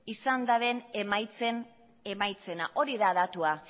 izan daben emaitzena hori da datua